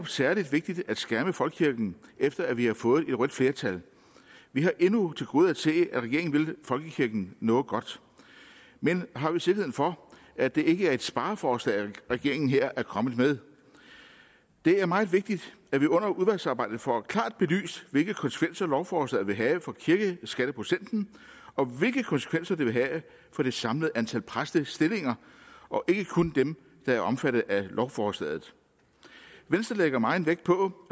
særlig vigtigt at skærme folkekirken efter at vi har fået et rødt flertal vi har endnu til gode at se at regeringen vil folkekirken noget godt men har vi sikkerhed for at det ikke er et spareforslag regeringen her er kommet med det er meget vigtigt at vi under udvalgsarbejdet får klart belyst hvilke konsekvenser lovforslaget vil have for kirkeskatteprocenten og hvilke konsekvenser det vil have for det samlede antal præstestillinger og ikke kun dem der er omfattet af lovforslaget venstre lægger megen vægt på